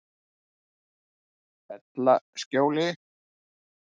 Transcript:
Fellaskjóli